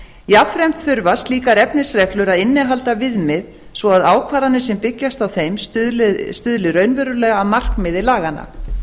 jafnframt þurfa slíkar efnisreglur að innihalda viðmið svo ákvarðanir sem byggjast á þeim stuðli raunverulega að markmiði laganna